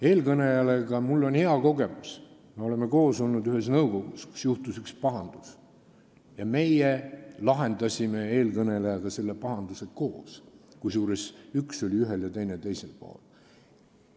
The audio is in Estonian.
Eelkõnelejaga on mul hea kogemus, me oleme koos olnud ühes nõukogus, kus juhtus üks pahandus, ja meie lahendasime eelkõnelejaga selle pahanduse koos, kusjuures üks meist oli parlamendis ühel ja teine teisel pool.